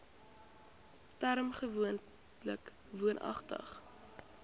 term gewoonlik woonagtig